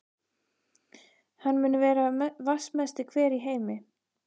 Hann mun vera vatnsmesti hver í heimi.